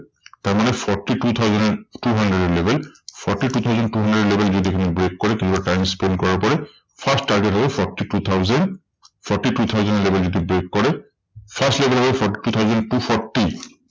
তারমানে forty two thousand two hundred এর level forty two thousand two hundred এর level যদি এখানে break করে কিংবা time spend করার পরে, first target হলো forty two thousand. forty two thousand এর level যদি break করে first level হবে forty two thousand two forty.